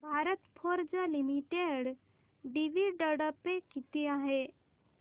Bharat Forge limited dividend pay किती आहे